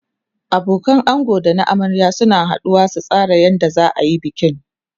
abokanan ango da na amarya suna haduwa su tsara yadda zaayi bikin